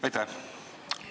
Aitäh!